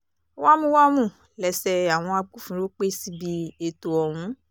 wámúwámù lẹ́sẹ̀ àwọn agbófinró pẹ́ síbi ètò ọ̀hún